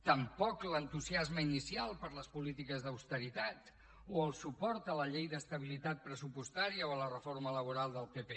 tampoc l’entusiasme inicial per les polítiques d’austeritat o el suport a la llei d’estabilitat pressupostària o a la reforma laboral del pp